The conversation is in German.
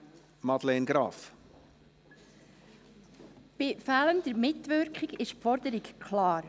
Bei «fehlender Mitwirkung» ist die Forderung klar.